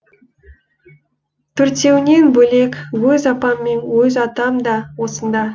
төртеуінен бөлек өз апам мен өз атам да осында